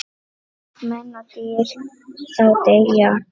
Menn og dýr þá deyja.